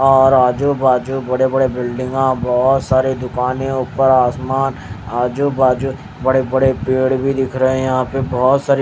और आजू-बाजू बड़े-बड़े बिल्डिंगा बहुत सारे दुकानें ऊपर आसमान आजू-बाजू बड़े-बड़े पेड़ भी दिख रहे हैं यहां पे बहुत सार--